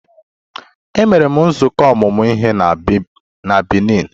E mere nzukọ ọmụmụ ihe na Benin.